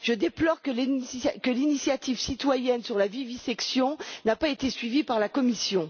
Je déplore que l'initiative citoyenne sur la vivisection n'ait pas été suivie par la Commission.